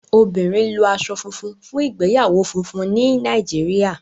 obìnrin lo aṣọ funfun fún ìgbéyàwó fúnfún ní Nàìjíríà.